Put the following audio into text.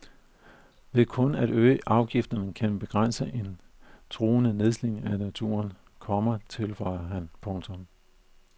Kun ved at øge afgifterne kan vi begrænse en truende nedslidning af naturen, komma tilføjer han. punktum